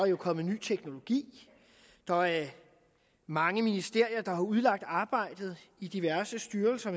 er kommet ny teknologi der er mange ministerier der har udlagt arbejdet i diverse styrelser